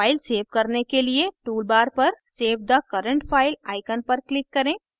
file save करने के लिए toolbar पर save the current file icon पर click करें